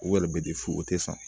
U yɛrɛ bɛ di fu o tɛ san